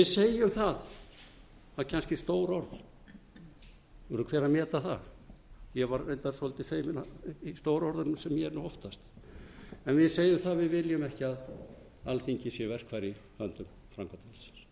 segjum það það eru kannski stór orð það verður hver að meta það ég var reyndar svolítið feiminn stóru orðunum eins og ég er oftast en við segjum að við viljum ekki að alþingi verkfæri í höndum